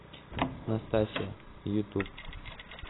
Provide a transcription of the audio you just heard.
настасья ютуб